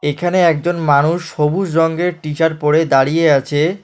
এখানে একজন মানুষ সবুজ রঙ্গের টি-শার্ট পরে দাঁড়িয়ে আছে।